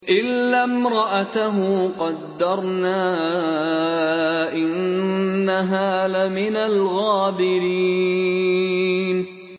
إِلَّا امْرَأَتَهُ قَدَّرْنَا ۙ إِنَّهَا لَمِنَ الْغَابِرِينَ